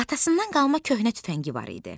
Atasından qalma köhnə tüfəngi var idi.